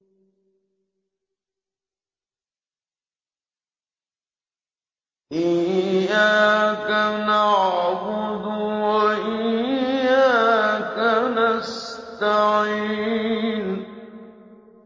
إِيَّاكَ نَعْبُدُ وَإِيَّاكَ نَسْتَعِينُ